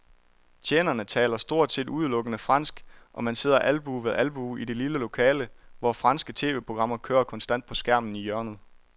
Tjenerne taler stort set udelukkende fransk, og man sidder albue ved albue i det lille lokale, hvor franske tv-programmer kører konstant på skærmen i hjørnet.